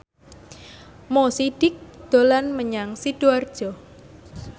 Mo Sidik dolan menyang Sidoarjo